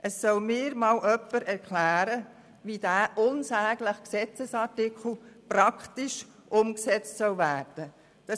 Es soll mir jemand erklären, wie dieser unsägliche Gesetzesartikel praktisch umgesetzt werden soll.